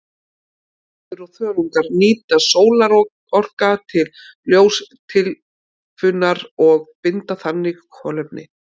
Plöntur og þörungar nýta sólarorka til ljóstillífunar og binda þannig kolefni.